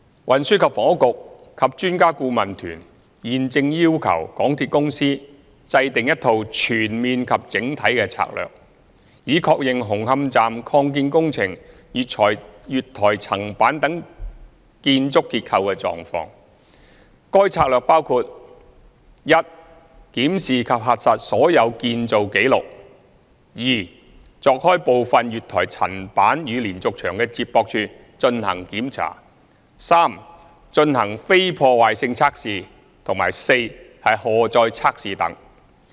運輸及房屋局和專家顧問團現正要求港鐵公司制訂一套全面及整體的策略，以確認紅磡站擴建工程月台層板等建築結構的狀況，該策略包括︰一檢視及核實所有建造紀錄；二鑿開部分月台層板與連續牆的接駁處進行檢查；三進行非破壞性測試；及四荷載測試等。